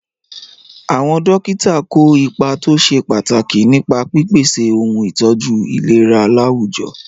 Àwọn dókítà kó ipa tó ṣe pàtàkì nípa pípèsè ohun ìtọ́jú ìlera láwùjọ.